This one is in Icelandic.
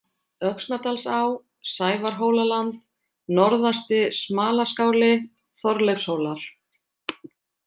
Öxnadalsá, Sævarhólaland, Norðasti-Smalaskáli, Þorleifshólar